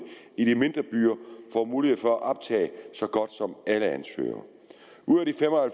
i de mindre byer får mulighed for at optage så godt som alle ansøgere ud af de fem og